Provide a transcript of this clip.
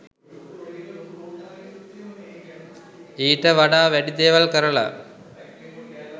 ඊට වඩා වැඩි දේවල් කරල